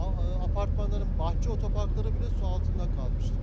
Apartmanların bahçe otoparkları bilə su altında qalmışdır.